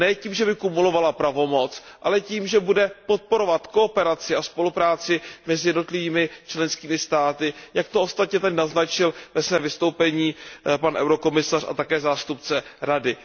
Ne tím, že by kumulovala pravomoc, ale tím, že bude podporovat kooperaci a spolupráci mezi jednotlivými členskými státy, jak to ostatně tady naznačil ve svém vystoupení pan komisař a také zástupce Rady.